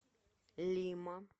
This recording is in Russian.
лима